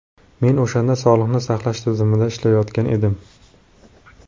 Men o‘shanda sog‘liqni saqlash tizimida ishlayotgan edim.